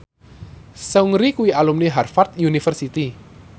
Seungri kuwi alumni Harvard university